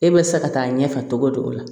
E bɛ se ka taa ɲɛfɛ togo di o la